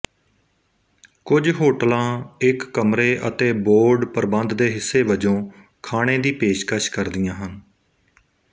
ਕੁੱਝ ਹੋਟਲਾਂ ਇੱਕ ਕਮਰੇ ਅਤੇ ਬੋਰਡ ਪ੍ਰਬੰਧ ਦੇ ਹਿੱਸੇ ਵਜੋਂ ਖਾਣੇ ਦੀ ਪੇਸ਼ਕਸ਼ ਕਰਦੀਆਂ ਹਨ